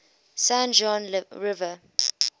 san juan river